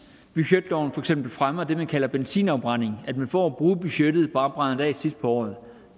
budgetloven for eksempel fremmer det man kalder benzinafbrænding at man for at bruge budgettet bare brænder det af sidst på året